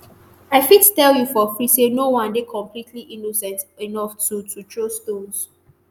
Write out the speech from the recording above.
“i fit tell you for free say no one dey completely innocent enough to to throw stones.